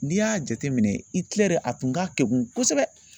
N'i y'a jateminɛ Itilɛri a tun ka kegun kosɛbɛ